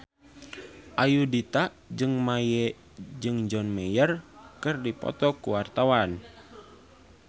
Ayudhita jeung John Mayer keur dipoto ku wartawan